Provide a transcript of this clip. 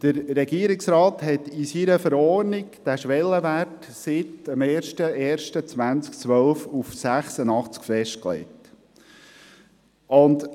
In seiner Verordnung hat der Regierungsrat diesen Schwellenwert seit dem 01.01.2012 bei 86 festgelegt.